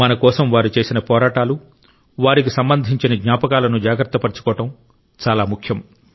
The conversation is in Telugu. మన కోసం వారు చేసిన పోరాటాలు వారికి సంబంధించిన జ్ఞాపకాలను జాగ్రత్తపర్చుకోవడం చాలా ముఖ్యం